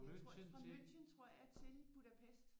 Jeg tror fra München tror jeg til Budapest